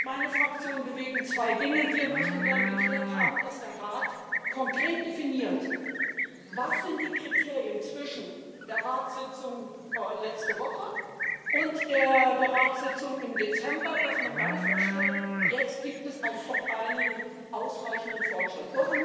Meine Fraktion bewegt zwei Dinge Wir möchten gern geklärt haben, dass der Rat konkret definiert, was die Kriterien zwischen der Ratssitzung letzte Woche und der Ratssitzung im Dezember sind, so dass man dann feststellt, jetzt gibt es ausreichenden Fortschritt.